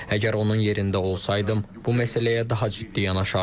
Əgər onun yerində olsaydım, bu məsələyə daha ciddi yanaşardım.